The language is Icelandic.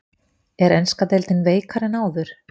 Er enska deildin veikari en áður?